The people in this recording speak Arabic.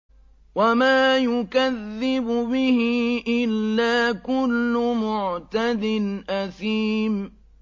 وَمَا يُكَذِّبُ بِهِ إِلَّا كُلُّ مُعْتَدٍ أَثِيمٍ